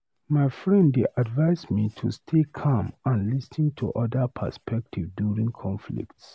My friend dey advise me to stay calm and lis ten to other perspectives during conflicts.